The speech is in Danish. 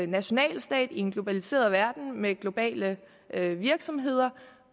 national stat i en globaliseret verden med globale virksomheder